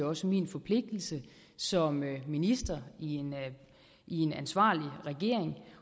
også min forpligtelse som minister i en i en ansvarlig regering